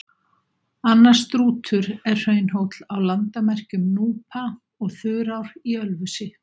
Annar Strútur er hraunhóll á landamerkjum Núpa og Þurár í Ölfusi.